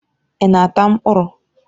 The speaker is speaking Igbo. Ị na-ata mkpụrụ?